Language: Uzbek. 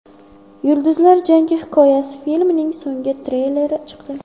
Yulduzlar jangi hikoyasi” filmining so‘nggi treyleri chiqdi.